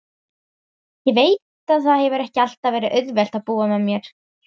Ég veit að það hefur ekki alltaf verið auðvelt að búa með mér.